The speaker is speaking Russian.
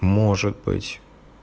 может быть